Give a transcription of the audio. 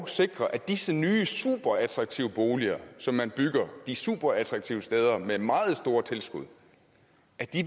sikre at disse nye superattraktive boliger som man bygger de superattraktive steder med meget store tilskud